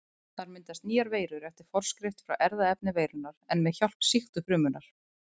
Þar myndast nýjar veirur eftir forskrift frá erfðaefni veirunnar en með hjálp sýktu frumunnar.